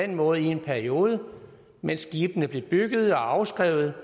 den måde i en periode mens skibene blev bygget og afskrevet